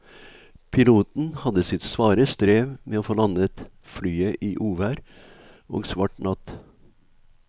Piloten hadde sitt svare strev med å få landet flyet i uvær og svart natt.